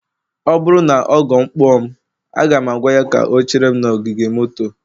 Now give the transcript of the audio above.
ọ bụrụ na ọgọ m kpọ mụ, aga m agwa ya ka ọ gaa chere m n'ogige moto